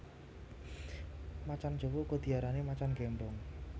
Macan jawa uga diarani macan gémbong